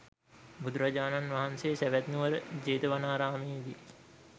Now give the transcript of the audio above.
බුදුරජාණන් වහන්සේ සැවැත්නුවර ජේතවනාරාමයේ දී